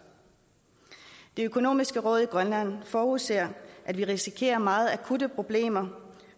det økonomiske råd i grønland forudser at vi risikerer meget akutte problemer